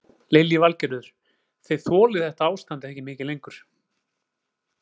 Lillý Valgerður: Þið þolið þetta ástand ekki mikið lengur?